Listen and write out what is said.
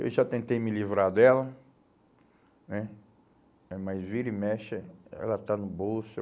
Eu já tentei me livrar dela né, é, mas vira e mexe, eh ela está no bolso.